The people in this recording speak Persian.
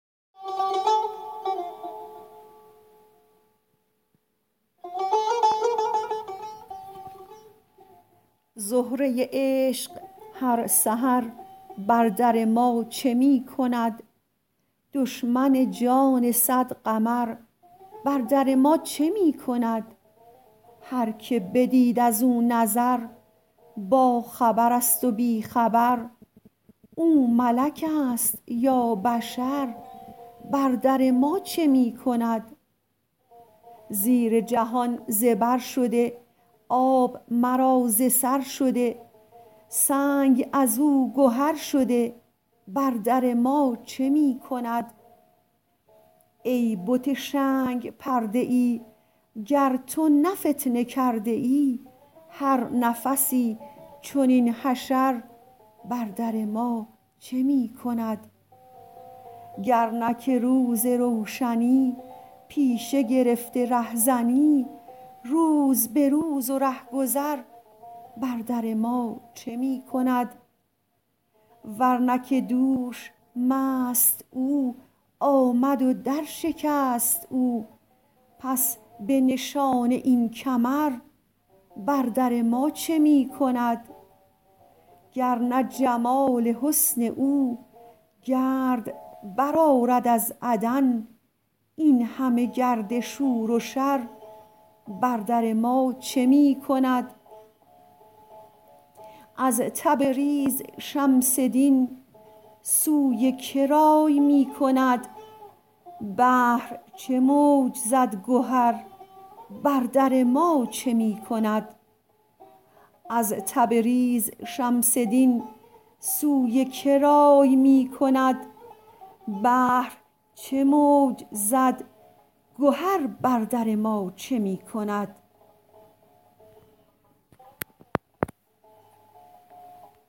زهره عشق هر سحر بر در ما چه می کند دشمن جان صد قمر بر در ما چه می کند هر که بدید از او نظر باخبرست و بی خبر او ملکست یا بشر بر در ما چه می کند زیر جهان زبر شده آب مرا ز سر شده سنگ از او گهر شده بر در ما چه می کند ای بت شنگ پرده ای گر تو نه فتنه کرده ای هر نفسی چنین حشر بر در ما چه می کند گر نه که روز روشنی پیشه گرفته رهزنی روز به روز و ره گذر بر در ما چه می کند ور نه که دوش مست او آمد و درشکست او پس به نشانه این کمر بر در ما چه می کند گر نه جمال حسن او گرد برآرد از عدم این همه گرد شور و شر بر در ما چه می کند از تبریز شمس دین سوی که رای می کند بحر چه موج زد گهر بر در ما چه می کند